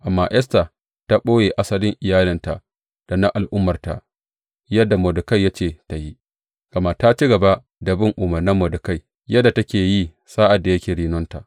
Amma Esta ta ɓoye asalin iyalinta da na al’ummarta yadda Mordekai ya ce ta yi, gama ta ci gaba da bin umarnan Mordekai yadda take yi sa’ad da yake renonta.